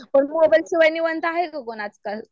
पण मोबाईल शिवाय निवांत हाय काय कोण आजकाल?